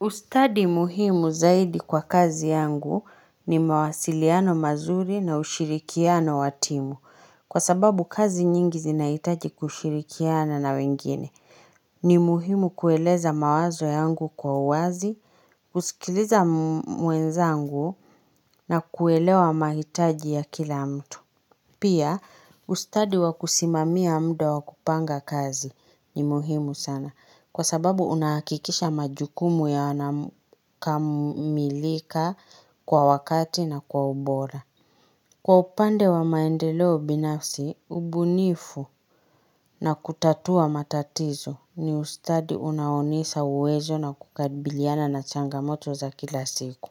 Ustadi muhimu zaidi kwa kazi yangu ni mawasiliano mazuri na ushirikiano wa timu. Kwa sababu kazi nyingi zinahitaji kushirikiana na wengine. Ni muhimu kueleza mawazo yangu kwa uwazi, kusikiliza mwenzangu na kuelewa mahitaji ya kila mtu. Pia ustadi wakusimamia muda wakupanga kazi ni muhimu sana kwa sababu unahakikisha majukumu ya wana kamilika kwa wakati na kwa ubora. Kwa upande wa maendeleo binafsi, ubunifu na kutatua matatizo ni ustadi unaonisa uwezo na kukabiliana na changamoto za kila siku.